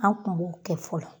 An Kun b'o kɛ fɔlɔ